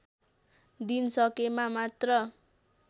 दिन सकेमा मात्र